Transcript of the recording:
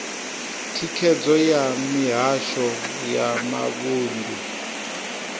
thikhedzo ya mihasho ya mavunḓu